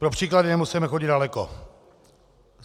Pro příklad nemusíme chodit daleko.